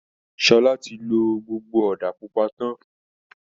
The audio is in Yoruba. Sọlá ti lo gbogbo ọ̀da pupa tán